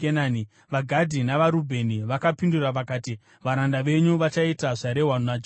VaGadhi navaRubheni vakapindura vakati, “Varanda venyu vachaita zvarehwa naJehovha.